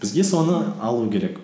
бізге соны алу керек